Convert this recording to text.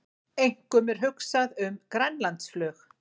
Einkum er hugsað um Grænlandsflug